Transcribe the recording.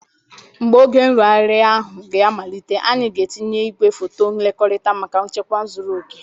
Mgbe oge nrụgharị ahụ ga-amalite, anyị ga-etinye igwe foto nlekota maka nchekwa zuru oke.